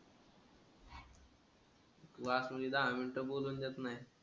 वासूली दहा मिनिटं बोलू देत नाही.